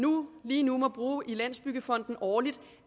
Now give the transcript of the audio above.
lige nu må bruge i landsbyggefonden årligt